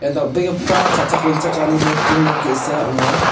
dal·begipa cha·chak-ringchakani nokdring nok ge·sa ong·a.